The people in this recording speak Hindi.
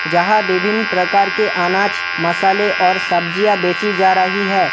यहां विभिन्न प्रकार के अनाज मसाले और सब्जियां बेची जा रही है।